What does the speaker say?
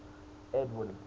edwin